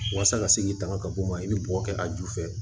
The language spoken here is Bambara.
Walasa ka se k'i tanga ka bɔ o ma i bɛ bɔgɔ kɛ a ju fɛ